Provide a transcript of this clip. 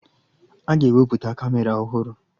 Aga ewepụta Kamera ọhụrụ